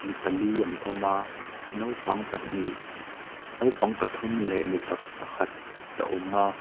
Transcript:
mipali an awma naupang pahnih naupang pathum leh mipa pakhat a awma.